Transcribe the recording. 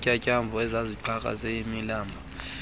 zintyatyambo ezaziqhakaze yimibala